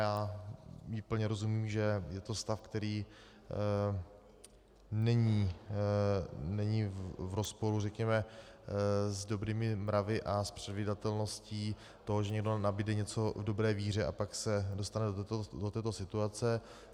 Já plně rozumím, že je to stav, který není v rozporu, řekněme, s dobrými mravy a s předvídatelností toho, že někdo nabude něco v dobré víře a pak se dostane do této situace.